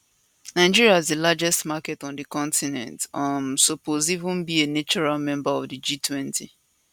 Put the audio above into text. nigeria as di largest market on di continent um suppose even be a natural member of di g20